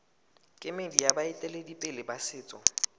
kemedi ya baeteledipele ba setso